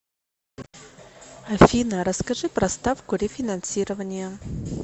афина расскажи про ставку рефинансирования